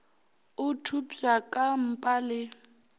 o thopša ka mpa le